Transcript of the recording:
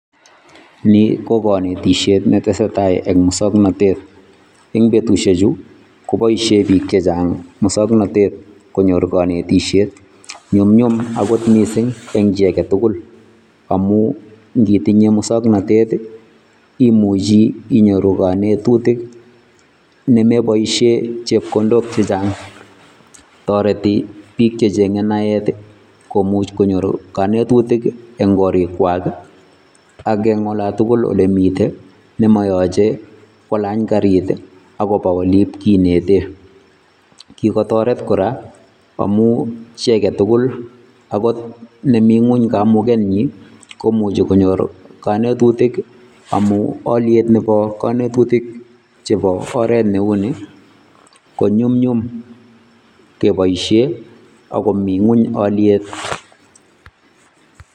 Nii ko konetisiet netesetai en muswoknotet en betushechu koboishe biik chechang muswoknotet konyor konetishet, nyumnyum akot mising en chii aketukul amun ng'itinye muswoknotet imuchi inyoru konetutik nemeboishen chepkondok chechang, toreti biik checheng'e naet komuch konyor konetutik eng' korikwak ak eng' olatukul olemiten nemoyoche kolany karit akobokole iib kineten, kikotoret kora amun chii aketukul akot nemii ngweny kamukenyin komuche konyor konetutik amun oliet nebo konetutik chebo oreet neuni konyumnyum keboishen ak komii ngweny oliet.